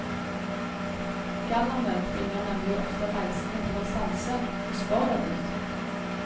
Gallerne tvinger nemlig ofte reisende til å stanse, og spør dem ut.